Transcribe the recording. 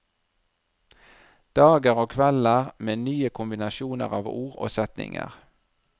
Dager og kvelder med nye kombinasjoner av ord og setninger.